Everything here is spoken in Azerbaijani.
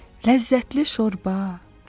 Ləzzətli şorba.